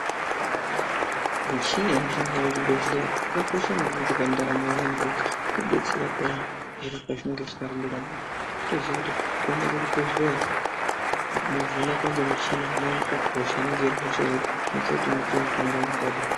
Michini inoshandiswa muzvibhedhleya yakakosha maningi pandaramo yevantu ngekuti inodetsera phiya zviro zvedu pezvinenge zvisina kumira mushe. Totoziya kuti kuenda kuchibhedhleya movhenekwa ngemichina moonekwa kuti hosha inenge iri hosha iri kuti mupiwe mutombo unoenderana.